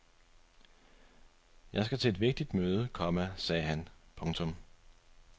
Jeg skal til et vigtigt møde, komma sagde han. punktum